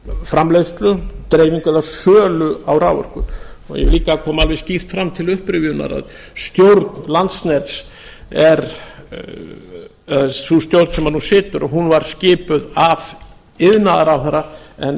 framleiðslu dreifingu eða sölu á raforku ég vil líka að það komi alveg skýrt fram til upprifjunar að stjórn landsnets sú stjórn sem nú situr hún var skipuð af iðnaðarráðherra en